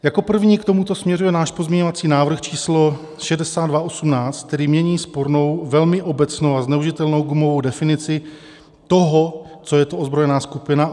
Jako první k tomu směřuje náš pozměňovací návrh číslo 6218, který mění spornou, velmi obecnou a zneužitelnou gumovou definici toho, co je to ozbrojená skupina.